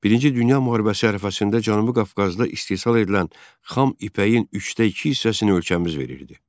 Birinci Dünya müharibəsi ərəfəsində Cənubi Qafqazda istehsal edilən xam ipəyin üçdə iki hissəsini ölkəmiz verirdi.